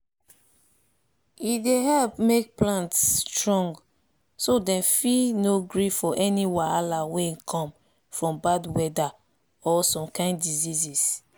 e dey help make plant strong so dem fit no gree for any wahala wey come from bad weather or some kain diseases